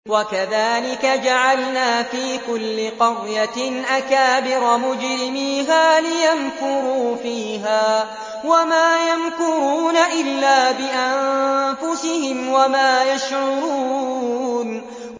وَكَذَٰلِكَ جَعَلْنَا فِي كُلِّ قَرْيَةٍ أَكَابِرَ مُجْرِمِيهَا لِيَمْكُرُوا فِيهَا ۖ وَمَا يَمْكُرُونَ إِلَّا بِأَنفُسِهِمْ وَمَا يَشْعُرُونَ